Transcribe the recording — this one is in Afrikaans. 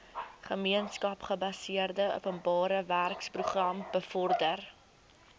gemeenskapsgebaseerde openbarewerkeprogram bevorder